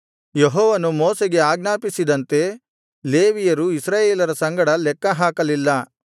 ಯೆಹೋವನು ಮೋಶೆಗೆ ಆಜ್ಞಾಪಿಸಿದಂತೆ ಲೇವಿಯರು ಇಸ್ರಾಯೇಲರ ಸಂಗಡ ಲೆಕ್ಕಹಾಕಲಿಲ್ಲ